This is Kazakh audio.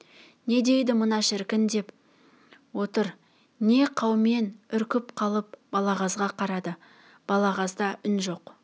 не дейді мына шіркін не деп отыр деп қаумен үркіп қалып балағазға қарады балағазда үн жоқ